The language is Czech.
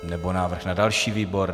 Nebo návrh na další výbor?